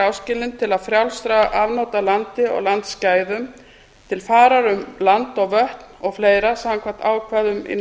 áskilinn til frjálsra afnota af landi og landsgæðum til farar um land og vötn og fleiri samkvæmt ákvæðum í